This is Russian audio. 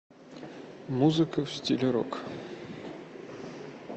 музыка в стиле рок